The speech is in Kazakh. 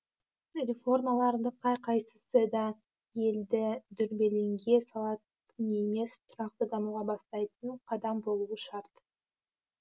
реформалардың қай қайсысы да елді дүрбелеңге салатын емес тұрақты дамуға бастайтын қадам болуы шарт